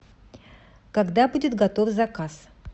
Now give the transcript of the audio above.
когда будет готов заказ